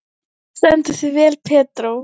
Þú stendur þig vel, Pedró!